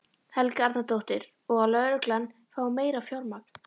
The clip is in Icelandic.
Helga Arnardóttir: Og að lögreglan fái meira fjármagn?